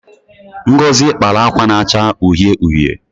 Ngozi kpara akwa na-acha uhie uhie.